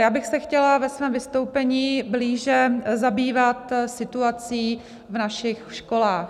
Já bych se chtěla ve svém vystoupení blíže zabývat situací v našich školách.